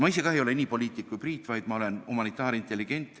Ma ise ei ole nii suur poliitik kui Priit, vaid ma olen humanitaarintelligent.